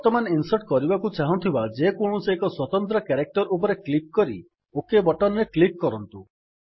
ବର୍ତ୍ତମାନ ଇନ୍ସର୍ଟ କରିବାକୁ ଚାହୁଁଥିବା ଯେକୌଣସି ଏକ ସ୍ୱତନ୍ତ୍ର କ୍ୟାରେକ୍ଟର୍ ଉପରେ କ୍ଲିକ୍ କରି ଓକ୍ ବଟନ୍ ରେ କ୍ଲିକ୍ କରନ୍ତୁ